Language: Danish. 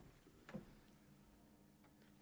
er